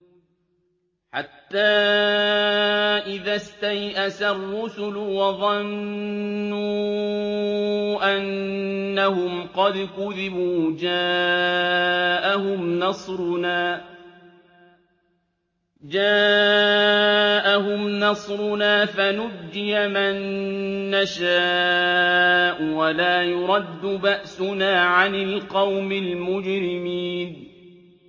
حَتَّىٰ إِذَا اسْتَيْأَسَ الرُّسُلُ وَظَنُّوا أَنَّهُمْ قَدْ كُذِبُوا جَاءَهُمْ نَصْرُنَا فَنُجِّيَ مَن نَّشَاءُ ۖ وَلَا يُرَدُّ بَأْسُنَا عَنِ الْقَوْمِ الْمُجْرِمِينَ